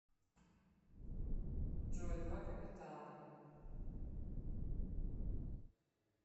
джой два капитана